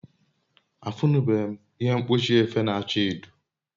afunube m ihe mkpochi efe na acha edo